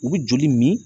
U bɛ joli min